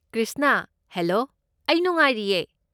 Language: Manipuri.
ꯀ꯭ꯔꯤꯁꯅꯥ, ꯍꯦꯂꯣ꯫ ꯑꯩ ꯅꯨꯡꯉꯥꯏꯔꯤꯌꯦ꯫